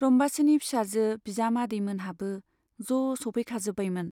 रम्बासीनि फिसाजो, बिजामादै मोनहाबो ज' सैफैजोबखाबायमोन।